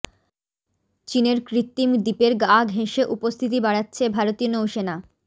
চিনের কৃত্রিম দ্বীপের গা ঘেঁষে উপস্থিতি বাড়াচ্ছে ভারতীয় নৌসেনা